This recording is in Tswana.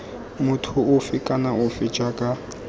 motho ofe kana ofe jaaka